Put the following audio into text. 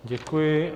Děkuji.